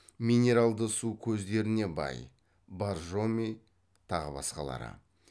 минералды су көздеріне бай